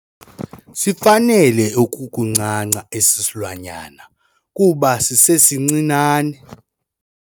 Sifanele ukuncanca esi silwanyana kuba sisesincinane.